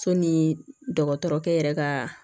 So ni dɔgɔtɔrɔkɛ yɛrɛ ka